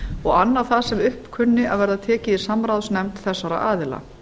og annað það sem upp kunni að verða tekið í samráðsnefnd þessara aðila